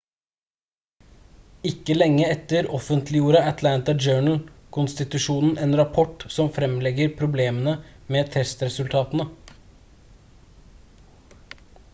ikke lenge etter offentliggjorde atlanta journal-konstitusjonen en rapport som fremlegger problemene med testresultatene